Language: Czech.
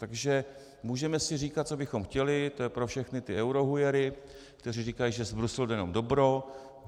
Takže můžeme si říkat, co bychom chtěli, to je pro všechny ty eurohujery, kteří říkají, že z Bruselu jde jenom dobro.